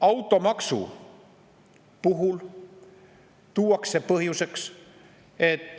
Automaksu puhul tuuakse põhjuseks, et